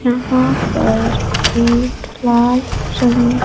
यहां पर एक लाल शंख--